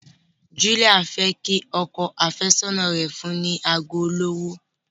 Julia fẹ kí ọkọ afesọna rẹ fún ni ago olówó.